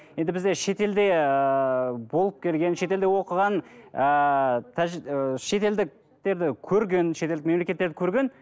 енді бізде шетелде ыыы болып келген шетелде оқыған ыыы ыыы шетелдіктерді көрген шетелдік мемлекеттерді көрген